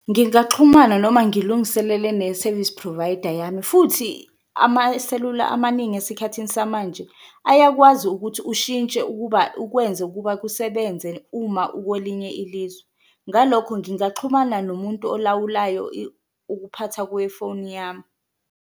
Ngingaxhumana noma ngilungiselele ne-service provider yami futhi amaselula amaningi esikhathini samanje ayakwazi ukuthi ushintshe ukuba ukwenze ukuba kusebenze uma ukwelinye ilizwe. Ngalokho ngingaxhumana nomuntu elawulayo ukuphatha kwifoni yami.